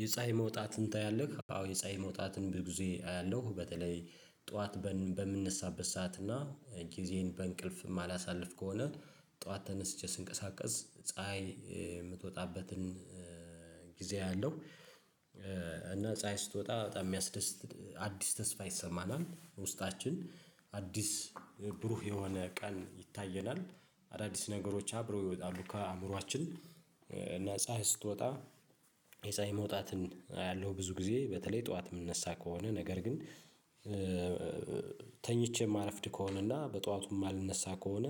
የፀሀይ መውጣትን ታያለህ? አዎ የፀሀይ መውጣትን ብዙ ጊዜ አያለሁ በተለይ ጠዋት በምነሳበት ሰዓት እና ጊዜን በእንቅልፍ የማላሳልፍ ከሆነ ጠዋት ተነስቼ ስንቀሳቀስ ፀሀይ የምትወጣበትን ጊዜ አለው። እና ፀሀይ ስትወጣ በጣም የሚያስደስት አዲስ ተስፋ ይሰማናል ውስጣችን አዲስ ብሩህ የሆነ ቀን ይታየናል። አዳዲስ ነገሮች አብረው ይወጣሉ ከአእምሮአችን። እና ፀሀይ ስትወጣ የፀሀይ መውጣትን አያለሁ ብዙ ጊዜ በተለይ ጠዋት የምነሳ ከሆነ ነገር ግን ተኝቼ ማረፍድ ከሆነና በጠዋቱም ማልነሳ ከሆነ